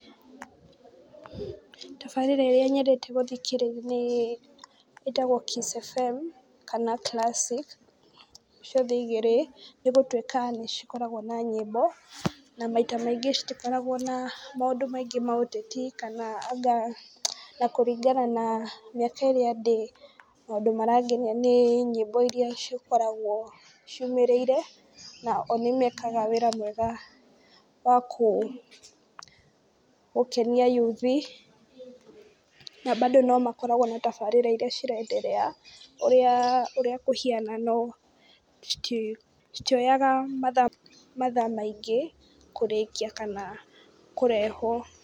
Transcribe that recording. Tabarĩra ĩrĩa nyendete gũthikĩrĩria nĩ ĩtagwo Kiss FM kana Classic ciothe igĩrĩ nĩgũtuĩka nĩcikoragwo na nyĩmbo na maita maingĩ citikoragwo na maundũ maingĩ ma ũteti kana anga, na kũringana na mĩaka ĩrĩa ndĩ maũndũ marangenia nĩ nyĩmbo iria cikoragwo ciumĩrĩire na o nĩmekaga wĩra mwega wagũkenia yuthi, na bado no makoragwo na tabarĩra iria ciraenderea ũrĩa kũhiana no citioyaga mathaa mathaa maingĩ kũrĩkia kana kũrehwo.